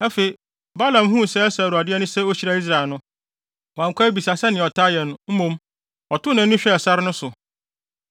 Afei, Balaam huu sɛ ɛsɔ Awurade ani sɛ ohyira Israel no, wankɔ abisa sɛnea ɔtaa yɛ no; mmom, ɔtoo nʼani hwɛɛ sare no so.